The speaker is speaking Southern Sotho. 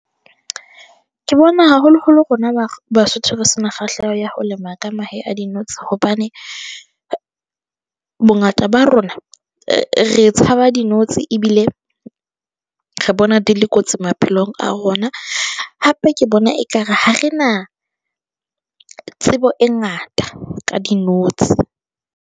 Ke bona, haholo-holo rona Basotho, re se na kgahleho ya ho lema ka mahe a dinotsi hobane, bongata ba rona re tshaba dinotsi ebile re bona di le kotsi maphelong a rona hape ke bona ekare ha re na tsebo e ngata ka dinotsi.